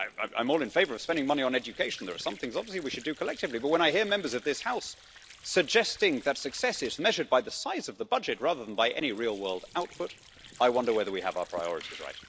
I'm all in favour of spending money on education there are some things, obviously, we should do collectively but when I hear Members of this House suggesting that success is measured by the size of the budget rather than by any real world output, I wonder whether we have our priorities right.